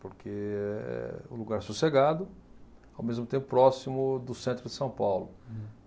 porque é um lugar sossegado, ao mesmo tempo próximo do centro de São Paulo.